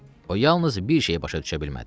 O yalnız bir şeyi başa düşə bilmədi.